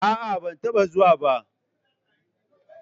Aa, ban taɓa zuwa ba.